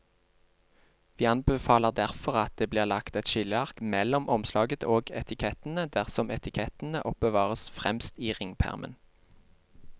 Vi anbefaler derfor at det blir lagt et skilleark mellom omslaget og etikettene dersom etikettene oppbevares fremst i ringpermen.